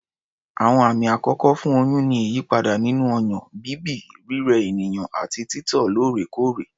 Àwọn àmì àkọ́kọ́ fún oyún ni ìyípadà nínú ọyàn, bíbì, rírẹ ènìyàn àti títọ̀ lóòrèkóòrè